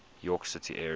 york city area